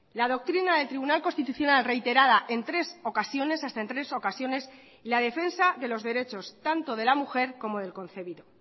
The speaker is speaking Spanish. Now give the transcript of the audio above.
la doctrina del tribunal constitucional reiterada en tres ocasiones hasta en tres ocasiones la defensa de los derechos tanto de la mujer como del concebido